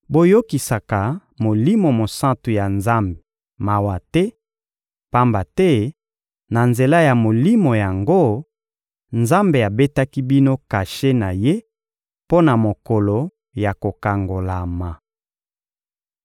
Boyokisaka Molimo Mosantu ya Nzambe mawa te; pamba te, na nzela ya Molimo yango, Nzambe abetaki bino kashe na Ye mpo na mokolo ya kokangolama.